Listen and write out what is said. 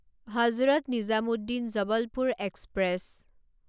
Hazrat Nizamuddin Jabalpur express